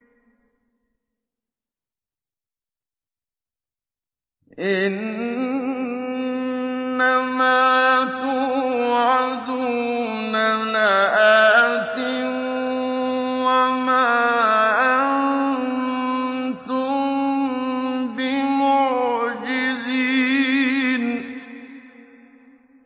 إِنَّ مَا تُوعَدُونَ لَآتٍ ۖ وَمَا أَنتُم بِمُعْجِزِينَ